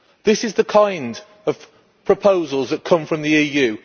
This is the kind of proposal that comes from the EU.